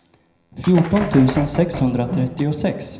fjorton tusen sexhundratrettiosex